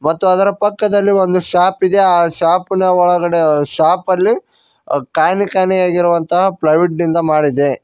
ಮತ್ತು ಅದರ ಪಕ್ಕದಲ್ಲಿ ಒಂದು ಶಾಪ್ ಇದೆ ಆ ಶಾಪ ನ ಒಳಗಡೆ ಅ ಶಾಪ ಅಲ್ಲಿ ಕಾಣೆ ಕಾಣೆ ಆಗಿರುವಂತ ಫ್ಲೈವೂಡ ನಿಂದ ಮಾಡಿದೆ.